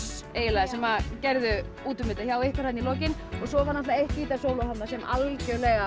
smöss sem gerðu út um þetta hjá ykkur þarna í lokin svo var eitt gítarsóló þarna sem algjörlega